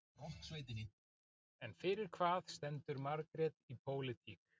En fyrir hvað stendur Margrét í pólitík?